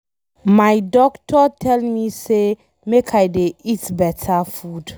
My doctor tell me say make I dey eat beta food.